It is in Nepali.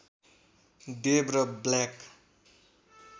देव र ब्ल्याक